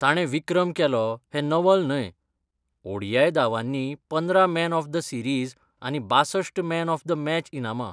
ताणें विक्रम केलो हें नवल न्हय, ओ. डी. आय. दावांनी पंदरा मॅन ऑफ द सिरीझ आनी बाशस्ट मॅन ऑफ द मॅच इनामां.